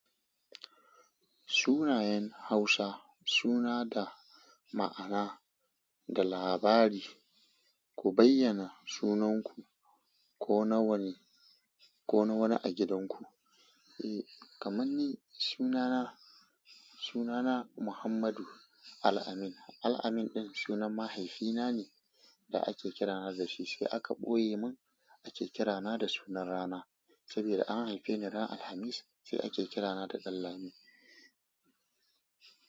Sunayen Hausa suna da ma'ana da labari. Ku bayyana sunanku ko na wani, ko na wani a gidanku. Eh, kamar ni sunana, sunana Muhammadu Al-amin. Al-amin ɗin sunan mahaifina ne da ake kira na da shi, sai aka ɓoye mun ake kira na da sunan rana. Saboda an haife ni ran Alhamis sai ake kira na da Danlami.